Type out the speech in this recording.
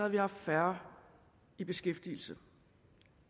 vi haft færre i beskæftigelse